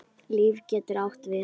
LÍF getur átt við